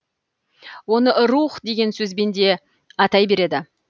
оны рух деген сөзбен де атай береді